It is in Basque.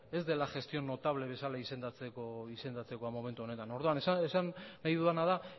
ez dela gestión notable bezala izendatzeko momentu honetan orduan esan nahi dudana da